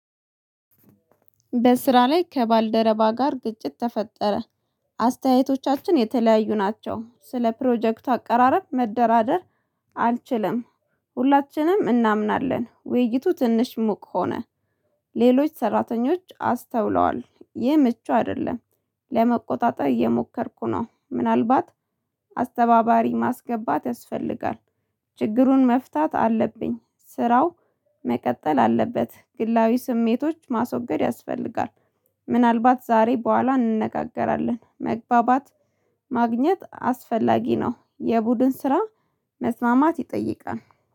በስራ ላይ ከባልደረባ ጋር ግጭት ተፈጠረ። አስተያየቶቻችን የተለያዩ ናቸው ስለ ፕሮጀክት አቀራረብ መደራደር አልችልም። ሁላችንም እናምናለን ውይይቱ ትንሽ ሙቅ ሆነ። ሌሎች ሰራተኞች አስተውለዋል ይህ ምቹ አይደለም። ለመቆጣጠር እየሞከርኩ ነው ምናልባት አስተባባሪ ማስገባት ያስፈልጋል። ችግሩን መፍታት አለብኝ። ስራው መቀጠል አለበት። ግላዊ ስሜቶች ማስወገድ ያስፈልጋል። ምናልባት ዛሬ በኋላ እንነጋገራለን መግባባት ማግኘት አስፈላጊ ነው። የቡድን ስራ መስማማት ይጠይቃል